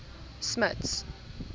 smuts